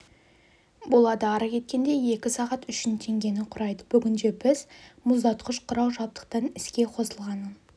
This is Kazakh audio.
болады ары кеткенде екі сағат үшін теңгені құрайды бүгінде біз мұздатқыш құрал жабдықтың іске қосылғанын